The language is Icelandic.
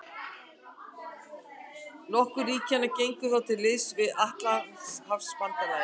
Nokkur ríkjanna gengu þá til liðs við Atlantshafsbandalagið.